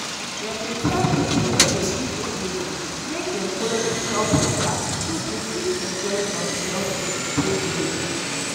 dem dey tell people way dey live for area make dem follow the health waka so dem fit enjoy from the health care way dey.